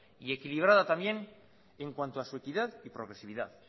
y equilibrada también en cuanto a su equidad y progresividad